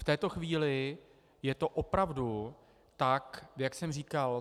V této chvíli je to opravdu tak, jak jsem říkal.